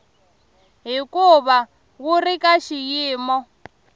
hikuva wu ri ka xiyimo